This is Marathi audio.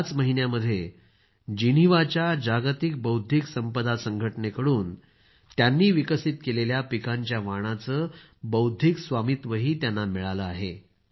याच महिन्यामध्ये जिनिव्हाच्या जागतिक बौद्धिक संपदा संघटनेकडून त्यांनी विकसित केलेल्या पिकांच्या वाणांचे बौद्धिक स्वामित्वही त्यांना मिळालं आहे